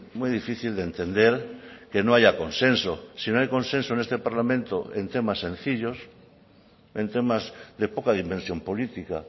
muy difícil de entender que no haya consenso si no hay consenso en este parlamento en temas sencillos en temas de poca dimensión política